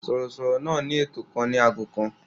Sọ̀rọ̀sọ̀rọ̀ náà ní ètò kan ní ago kan.